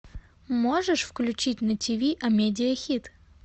можешь включить на тиви амедиа хит